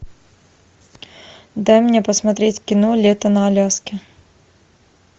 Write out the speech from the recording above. дай мне посмотреть кино лето на аляске